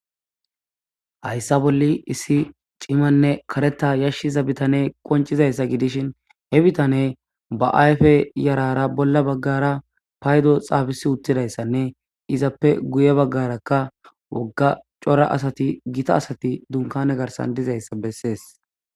Hayissa bolli cimanne karetha bitaneyi qoniccizayisa gidishini, he bittaneyi baa ayife yarrara bolla baggara payidoyi xafeti utidayissanne izappe guye baggara daligga coora assati